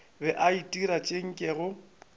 be a itira tše nkego